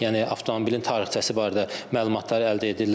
Yəni avtomobilin tarixçəsi barədə məlumatları əldə edirlər.